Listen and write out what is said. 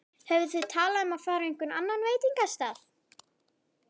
Höfðu þau talað um að fara á einhvern annan veitingastað?